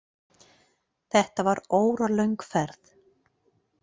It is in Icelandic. Þetta var óralöng ferð.